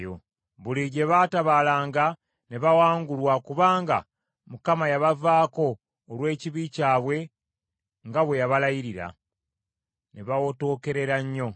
Buli gye baatabaalanga ne bawangulwa kubanga Mukama yabavaako olw’ekibi kyabwe nga bwe yabalayirira; ne bawotookerera nnyo.